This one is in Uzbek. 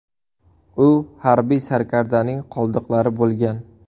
U harbiy sarkardaning qoldiqlari bo‘lgan.